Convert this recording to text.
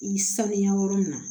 I bi sanuya yɔrɔ min na